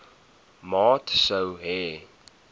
maat sou hê